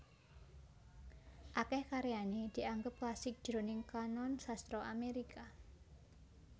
Akèh karyané dianggep klasik jroning kanon sastra Amérika